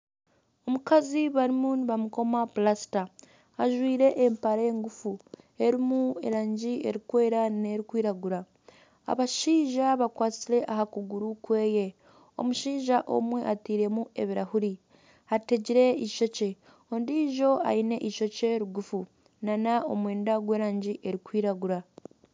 Omukazi barimu nibamukoma plasita ,ajwaire empare ngufu erimu erangi erikweera nerikwiragura abashaija bakwatsire aha kuguru kweye omushaija omwe atairemu ebirahuri , ategire eishookye ,ondiijo aine eishokye rigufu nana omwenda gw'erangi erikwiragura